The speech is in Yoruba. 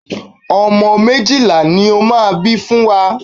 Ọmọ méjìlá ni ó máa bí fún wa.